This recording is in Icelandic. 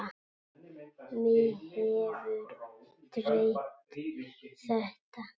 Mig hefur dreymt þetta.